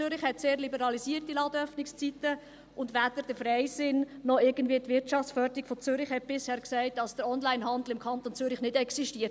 Zürich hat sehr liberalisierte Ladenöffnungszeiten, und weder der Freisinn noch die Wirtschaftsförderung von Zürich haben bisher gesagt, dass der Onlinehandel im Kanton Zürich nicht existiert.